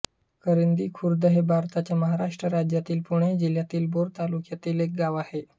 करंदी खुर्द हे भारताच्या महाराष्ट्र राज्यातील पुणे जिल्ह्यातील भोर तालुक्यातील एक गाव आहे